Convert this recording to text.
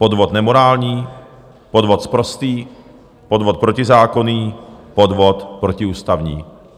Podvod nemorální, podvod sprostý, podvod protizákonný, podvod protiústavní.